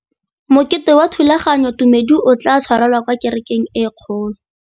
Mokete wa thulaganyôtumêdi o tla tshwarelwa kwa kerekeng e kgolo.